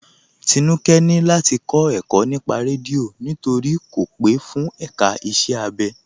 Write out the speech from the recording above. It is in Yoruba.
Tínúkẹ̀ ni láti kọ ẹ̀kọ̀ nípà rẹ́díọ̀ nítorí kò pe fún èká ìṣẹ̀ abẹ.